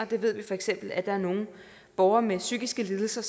vi ved feks at der er nogle borgere med psykiske lidelser